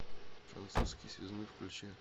французский связной включи